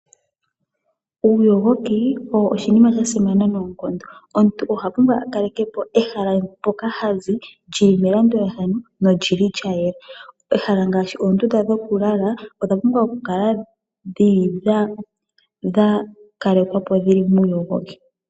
Uuyogoki owo oshinima sha simana noonkondo. Omuntu oha pumbwa a kaleke po ehala mpoka ha zi lyili melandulathano, nolyi li lya yela. Ehala ngaashi oondunda dhoku lala, odha pumbwa oku kala dhili dha kalekwa po dhili muuyogoki.